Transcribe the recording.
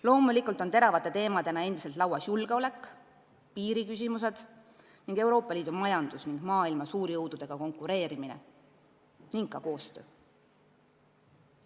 Loomulikult on teravate teemadena endiselt laual julgeolek, piiriküsimused, Euroopa Liidu majandus ja maailma suurjõududega konkureerimine, samuti koostöö.